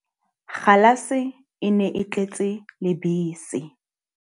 Kgalase e ne e tletse lebese.